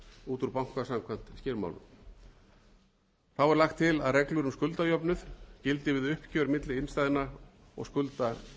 út úr banka samkvæmt skilmálum þá er lagt til að reglur um skuldajöfnuð gildi við uppgjör milli innstæðna og skulda